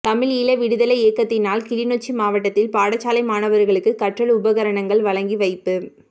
தமிழ் ஈழ விடுதலை இயக்கத்தினால் கிளிநொச்சி மாவட்டத்தில் பாடசாலை மாணவர்களுக்கு கற்றல் உபகரணங்கள் வழங்கி வைப்பு